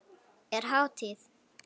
Er hátíð?